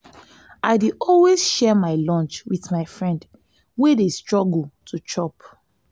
i dey always share my lunch wit my friend wey dey struggle to chop.